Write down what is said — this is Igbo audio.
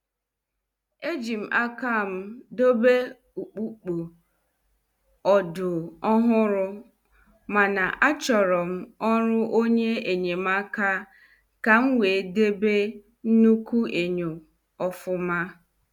Ejim akam debe ukpukpo /ọdụ ọhụrụ mana, Achorom ọrụ onye enyemaka ka m wee debe nnukwu enyo ofuma.